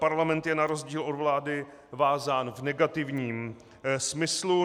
Parlament je na rozdíl od vlády vázán v negativním smyslu.